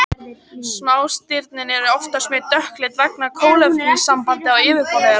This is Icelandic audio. Smástirnin eru oftast mjög dökkleit vegna kolefnissambanda á yfirborði þeirra.